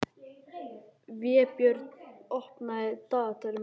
Vébjörn, opnaðu dagatalið mitt.